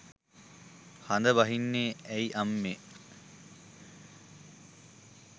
හඳ බහින්නේ ඇයි අම්මේ.